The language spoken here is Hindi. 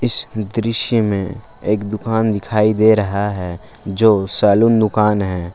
इस दृश्य में एक दुकान दिखाई दे रहा है जो सैलून दुकान है।